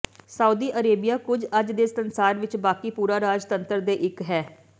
Saudi Arabia ਕੁਝ ਅੱਜ ਦੇ ਸੰਸਾਰ ਵਿੱਚ ਬਾਕੀ ਪੂਰਾ ਰਾਜਤੰਤਰ ਦੇ ਇੱਕ ਹੈ